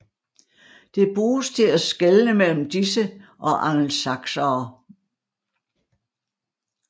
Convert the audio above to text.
Det bruges til at skelne mellem disse og angelsaksere